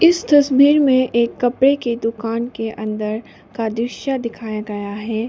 इस तस्वीर में एक कपड़े की दुकान के अंदर का दृश्य दिखाया गया है।